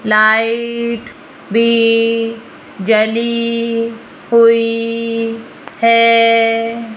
Light भी जली हुई है।